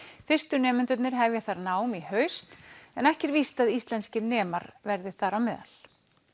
fyrstu nemendurnir hefja þar nám í haust en ekki er víst að íslenskir nemar verði þar á meðal